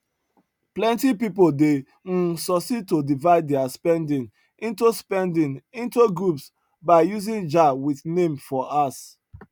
plenty people dey um succeed to divide their spending into spending into groups by using jar with name for house